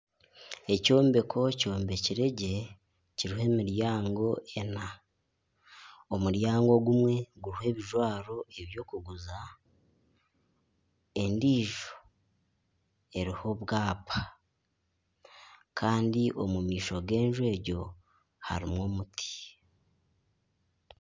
Ekyombeko kyombekire gye kiriho emiryango ena. Omuryango ogumwe guriho ebijwaro eby'okuguza. Endiijo eriho obwapa kandi omu maisho g'enju egyo harimu omuti.